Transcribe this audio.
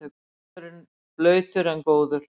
Völlurinn blautur en góður